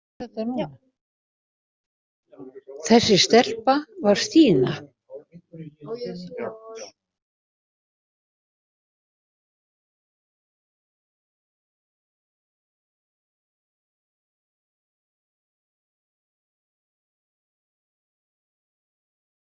Þessi stelpa var Stína.